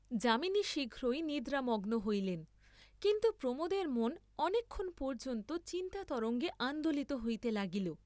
যামিনী শীঘ্রই নিদ্রামগ্ন হইলেন, কিন্তু প্রমোদের মন অনেকক্ষণ পর্য্যন্ত চিন্তাতরঙ্গে আন্দোলিত হইতে লাগিল।